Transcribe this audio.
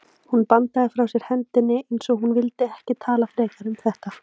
Hún bandaði frá sér hendinni, eins og hún vildi ekki tala frekar um þetta.